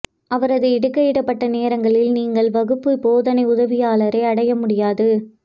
அவரது இடுகையிடப்பட்ட நேரங்களில் நீங்கள் வகுப்பு போதனை உதவியாளரை அடைய முடியாது